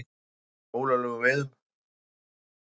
Ekki að ólöglegum veiðum